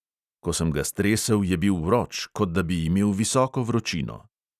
Ko sem ga stresel, je bil vroč, kot da bi imel visoko vročino.